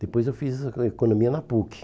Depois eu fiz a economia na PUC.